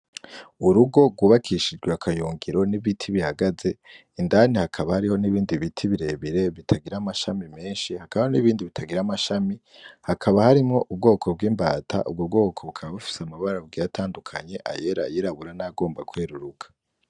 Urugo rwubakishijwe akayungiro n'ibiti bihagaze indani hakaba hari n'ibindi biti birebire bitagira amashami menshi , hakaba hari n'ibindi bitagira amashami ,hakaba harimwo ubwoko bw'imbata bufise amabara atandukanye ayera ,ayirabura ,n'ayagomba kweruruka.